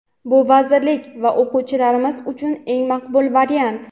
Bu vazirlik va o‘quvchilarimiz uchun eng maqbul variant.